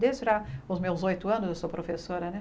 Desde lá os meus oito anos, eu sou professora, né?